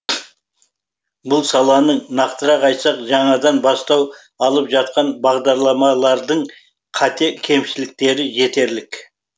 бұл саланың нақтырақ айтсақ жаңадан бастау алып жатқан бағдарламалардың қате кемшіліктері жетерлік